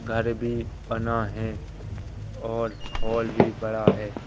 घर भी बना है और हॉल भी बड़ा है।